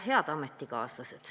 Head ametikaaslased!